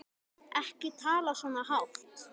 Ekki tala svona hátt.